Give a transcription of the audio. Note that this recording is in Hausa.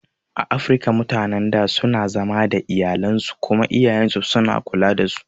A Afirika mutanan da suna zama da iyalansu kuma iyayansu suna kula dasu